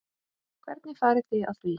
Hvernig farið þið að því?